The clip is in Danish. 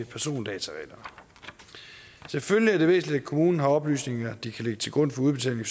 persondatareglerne selvfølgelig er det væsentligt at kommunen har oplysninger de kan lægge til grund for udbetaling